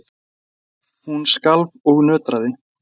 Hún skalf og nötraði.